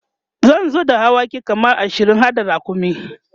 zan zo da dawaki kaman ashirin harda rakumi